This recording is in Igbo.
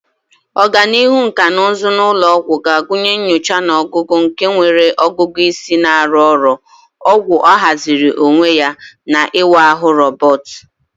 Ọganihu nkà na ụzụ n'ụlọ ọgwụ ga-agụnye nyocha na ọgwụgwọ nke nwere ọgụgụ isi na-arụ ọrụ, ọgwụ ahaziri onwe ya, na ịwa ahụ roboti.